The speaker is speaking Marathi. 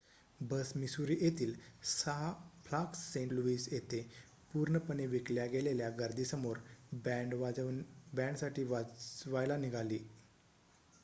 बस मिसुरी येथील 6 फ्लाग्स सेंट लुईस येथे पूर्णपणे विकल्या गेलेल्या गर्दीसमोर बॅंड साठी वाजवायला निघाली